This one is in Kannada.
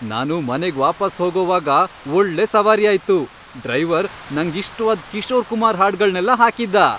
ನಾನು ಮನೆಗ್ ವಾಪಾಸ್ ಹೋಗೋವಾಗ ಒಳ್ಳೆ ಸವಾರಿ ಆಯ್ತು. ಡ್ರೈವರ್ ನಂಗಿಷ್ಟ್ವಾದ್ ಕಿಶೋರ್ ಕುಮಾರ್ ಹಾಡ್ಗಳ್ನೆಲ್ಲ ಹಾಕಿದ್ದ.